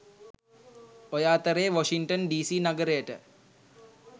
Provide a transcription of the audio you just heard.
ඔය අතරේ Washington DC නගරයට